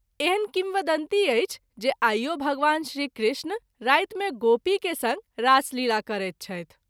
एहन किंवदंती अछि जे आइओ भगवान श्री कृष्ण राति मे गोपी के संग रासलीला करैत छथि।